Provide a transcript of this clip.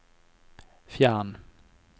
fjern